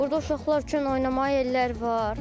Burda uşaqlar üçün oynamağa yerlər var.